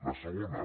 la segona